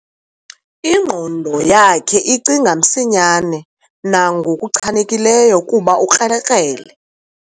Ingqondo yakhe icinga msinyane nangokuchanekileyo kuba ukrelekrele.